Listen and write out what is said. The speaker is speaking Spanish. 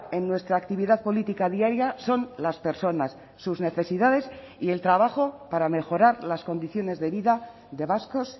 en nuestra actividad política diaria son las personas sus necesidades y el trabajo para mejorar las condiciones de vida de vascos